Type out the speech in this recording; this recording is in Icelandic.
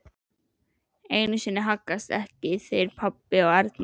Einu sem haggast ekki eru pabbi og Erna.